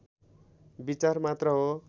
विचार मात्र हो